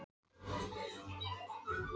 Þessi lýður allur sest bara upp hjá ykkur.